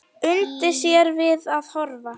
Undi sér við að horfa.